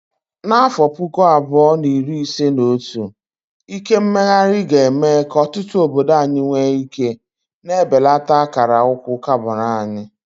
N'afọ puku abuo na iri ise na otu, ike mmeghari ga-eme ka ọtụtụ obodo anyị nwee ike, na-ebelata akara ụkwụ carbon anyị.